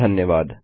धन्यवाद